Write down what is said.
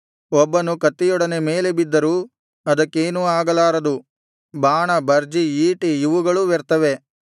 ಒಬ್ಬನು ಕತ್ತಿಯೊಡನೆ ಮೇಲೆ ಬಿದ್ದರೂ ಅದಕ್ಕೇನೂ ಆಗಲಾರದು ಬಾಣ ಭರ್ಜಿ ಈಟಿ ಇವುಗಳೂ ವ್ಯರ್ಥವೇ